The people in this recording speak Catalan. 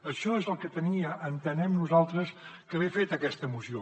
això és el que havia entenem nosaltres d’haver fet aquesta moció